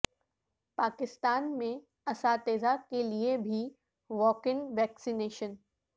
پاکستان میں اساتذہ کے لیے بھی واک ان ویکسینیشن